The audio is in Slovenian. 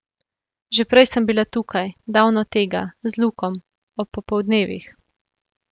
Že prej sem bila tukaj, davno tega, z Lukom, ob popoldnevih.